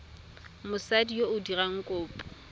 mosadi yo o dirang kopo